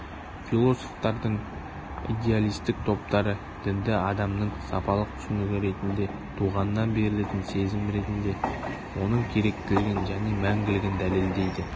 философтардың идеалистік топтары дінді адамның сапалық түсінігі ретінде туғаннан берілетін сезім ретінде оның керектілігін және мәңгілігін дәлелдейді